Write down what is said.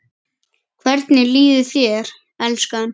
Hvernig líður þér, elskan?